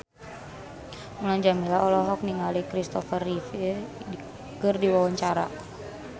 Mulan Jameela olohok ningali Christopher Reeve keur diwawancara